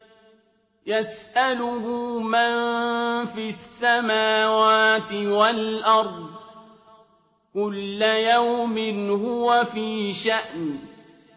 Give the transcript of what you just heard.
يَسْأَلُهُ مَن فِي السَّمَاوَاتِ وَالْأَرْضِ ۚ كُلَّ يَوْمٍ هُوَ فِي شَأْنٍ